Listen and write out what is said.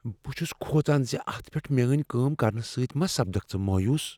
بہ چھُس کھوژان زِ اتھ پیٹھ میٲنۍ کٲم کرِنہ سۭتۍ ما سپدِکھ ژٕ مایوس۔